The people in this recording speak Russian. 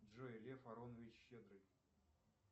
джой лев аронович щедрый